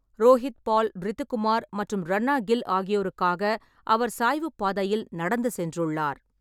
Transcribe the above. ரோஹித் பால், ரிது குமார் மற்றும் ரன்னா கில் ஆகியோருக்காக அவர் சாய்வுப்பாதையில் நடந்து சென்றுள்ளார்.